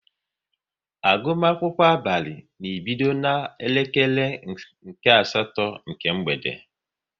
Agụmakwụkwọ abalị na-ebido na-elekere nke asatọ nke mgbede